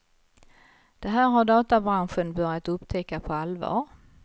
Det här har databranschen börjat upptäcka på allvar.